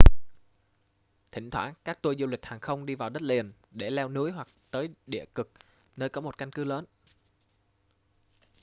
thỉnh thoảng các tour du lịch hàng không đi vào đất liền để leo núi hoặc tới địa cực nơi có một căn cứ lớn